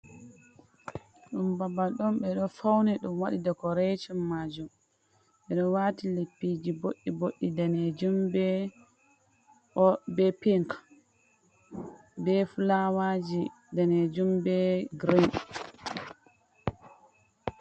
Ɗum babal on ɓe ɗo fawni ɗum waɗi dikorekcin maajum, ɓeɗo waiti leppiji ɓoɗɗi boɗeeji, bee daneejum, bee pink, be fulawaaji daneejum bee girin.